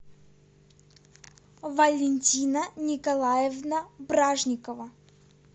валентина николаевна бражникова